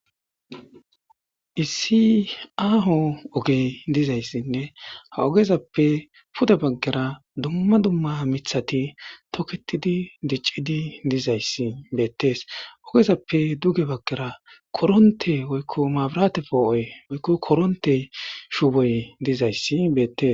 Issi aaho ogey dizayssinne ha ogezappe pude baggara dumma dumma mithati toketidi diccidi dizayssi beettees. ogezappe. duge baggara koronte woykko maabirate poo'oy woykko koronte shuboy dizayssi beettes.